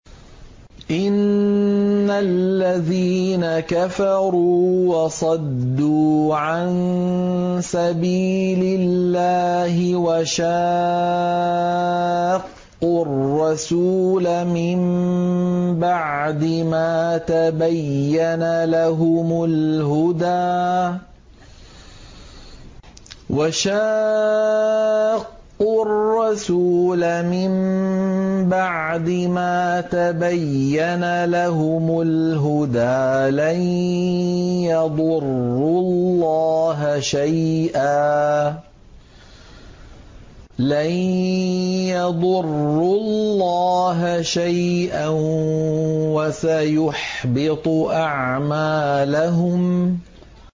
إِنَّ الَّذِينَ كَفَرُوا وَصَدُّوا عَن سَبِيلِ اللَّهِ وَشَاقُّوا الرَّسُولَ مِن بَعْدِ مَا تَبَيَّنَ لَهُمُ الْهُدَىٰ لَن يَضُرُّوا اللَّهَ شَيْئًا وَسَيُحْبِطُ أَعْمَالَهُمْ